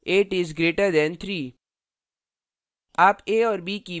8 is greater than 3